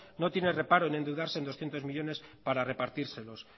no tiene reparo en endeudarse en doscientos millónes para repartírselos